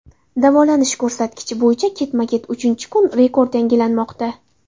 Davolanish ko‘rsatkichi bo‘yicha ketma-ket uchinchi kun rekord yangilanmoqda.